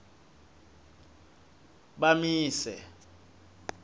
bamise